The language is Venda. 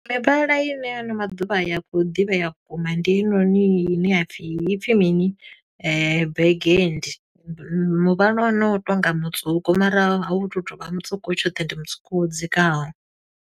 Mivhala ine hano maḓuvha ya khou ḓivhea vhukuma, ndi heinoni ine ya pfi, i pfi mini? Burgundy, muvhala wa hone u tonga mutswuku, mara a u tu to vha mutswuku tshoṱhe ndi mutswuku wo dzikaho.